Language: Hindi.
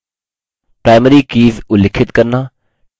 5 primary कीज़ उल्लिखित करना